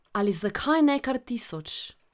Ali zakaj ne kar tisoč?